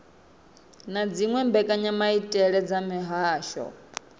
na dziwe mbekanyamaitele dza mihasho